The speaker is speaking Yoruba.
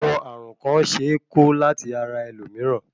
Àwọn ààrùn kàn ṣe é ko láti ara ẹlòmíràn.